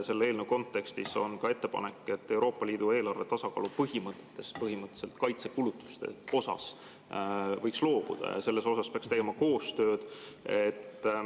Selle eelnõu kontekstis on ka ettepanek, et Euroopa Liidu eelarve tasakaalu põhimõttest kaitsekulutuste osas võiks loobuda ja selles osas peaks tegema koostööd.